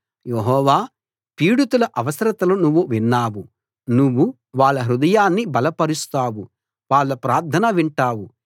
యెహోవా పీడితుల అవసరతలు నువ్వు విన్నావు నువ్వు వాళ్ళ హృదయాన్ని బలపరుస్తావు వాళ్ళ ప్రార్థన వింటావు